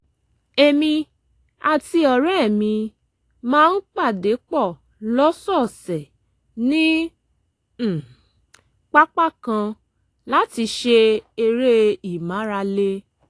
èmi àti ọ̀rẹ́ mi máa ń pàdé pọ̀ lọ́sọ̀ọ̀sẹ̀ ní um pápá kan láti ṣe eré ìmárale